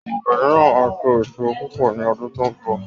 Ọ̀gẹ̀dẹ̀ náà máa so èso púpọ̀ ni ọdún tó ń bọ̀